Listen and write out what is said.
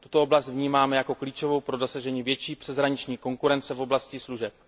Tuto oblast vnímáme jako klíčovou pro dosažení větší přeshraniční konkurence v oblasti služeb.